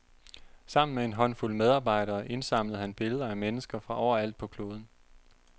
Sammen med en håndfuld medarbejdere indsamlede han billeder af mennesker fra overalt på kloden.